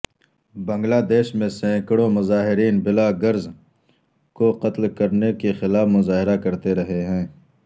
بنگلہ دیش میں سینکڑوں مظاہرین بلاگرز کو قتل کرنے کے خلاف مظاہرے کرتے رہے ہیں